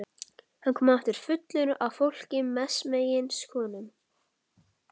Hann kom aftur fullur af fólki, mestmegnis konum.